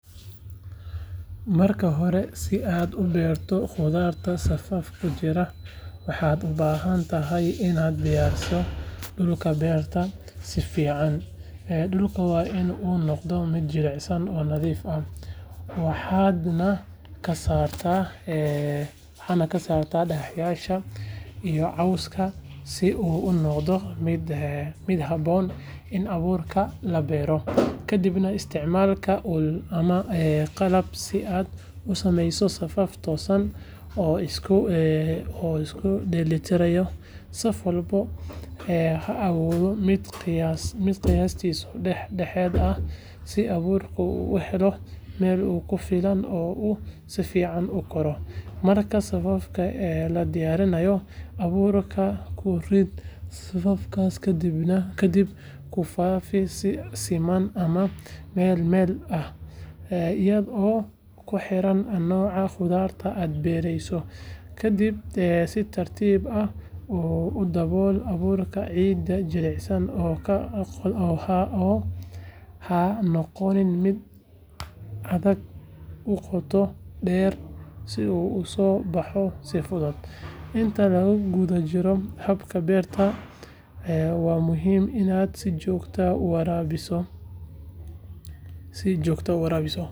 Marka hore, si aad u beerto khudradda safaf ku jira, waxaad u baahan tahay inaad diyaariso dhulka beerta si fiican. Dhulka waa in uu noqdaa mid jilicsan oo nadiif ah, waxaadna ka saartaa dhagaxyada iyo cawska si uu u noqdo mid habboon in abuurka lagu beero. Kadib, isticmaal ul ama qalab si aad u sameysid safaf toosan oo isku dheelitiran, saf walbana ha ahaado mid qiyaastii dhex dhexaad ah, si abuurka uu u helo meel ku filan oo uu si fiican u koro. Marka safafka la diyaariyo, abuurka ku rid safafkaas adigoo ku faafinaya si siman ama meel meel ah, iyadoo ku xiran nooca khudradda aad beereyso. Ka dib, si tartiib ah u dabool abuurka ciid jilicsan oo ha noqon mid aad u qoto dheer si uu u soo baxo si fudud. Inta lagu guda jiro habka beerta, waa muhiim inaad si joogto ah u waraabiso.